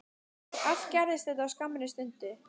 Allt gerðist þetta á skammri stundu.